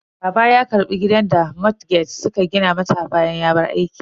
Baba ya karbi gidan da bankin motgeg suka gina masa bayan ya bar aiki.